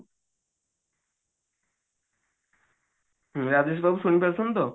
ରାଜେଶ ବାବୁ ଶୁଣି ପାରୁଛନ୍ତି ତ